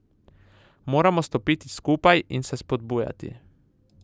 Moramo stopiti skupaj in se spodbujati.